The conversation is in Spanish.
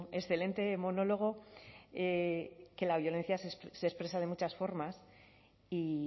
excelente monólogo que la violencia se expresa de muchas formas y